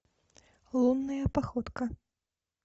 лунная походка